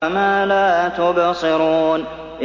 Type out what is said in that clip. وَمَا لَا تُبْصِرُونَ